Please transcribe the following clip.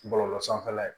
Bɔlɔlɔ sanfɛla ye